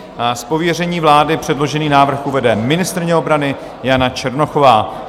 Z pověření vlády předložený návrh uvede ministryně obrany Jana Černochová.